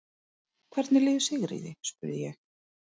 Hvernig líður Sigríði? spurði ég.